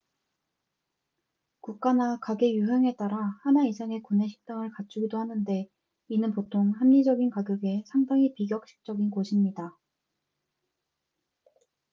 국가나 가게 유형에 따라 하나 이상의 구내식당을 갖추기도 하는데 이는 보통 합리적인 가격의 상당히 비격식적인 곳입니다